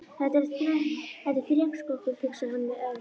Þetta er þrekskrokkur, hugsaði hann með öfund.